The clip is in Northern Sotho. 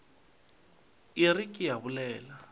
a re ke a bolela